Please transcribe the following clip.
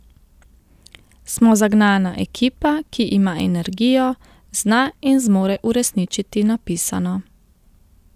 Smo zagnana ekipa, ki ima energijo, zna in zmore uresničiti napisano.